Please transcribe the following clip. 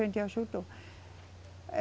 A gente ajudou.